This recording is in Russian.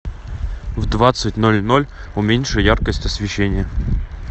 в двадцать ноль ноль уменьши яркость освещения